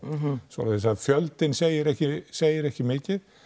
svoleiðis að fjöldinn segir ekki segir ekki mikið